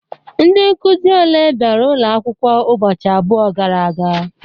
Ndị Nkụzi oké bịara ụlọ akwụkwọ ụbọchị abụọ gara aga?